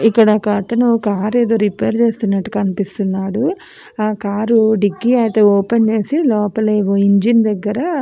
ఇక్కడ ఒకతను car repair చేస్తునట్టు కనిపిస్తున్నాడు ఆ కారు డిక్కీ ఐతే ఓపెన్ చేసి లోపల ఇంజిన్ దెగ్గర --